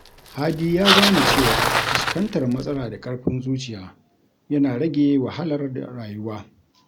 Hadi ya gane cewa fuskantar matsala da ƙarfin zuciya yana rage wahalar rayuwa.